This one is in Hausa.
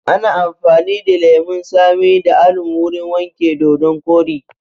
Ana amfani da lemun tsami da alum wurin wanke dodon koɗi